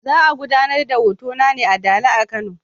Za a gudanar da hotona ne a Dala a Kano.